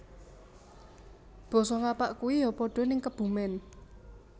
Boso ngapak kui yo podo ning Kebumen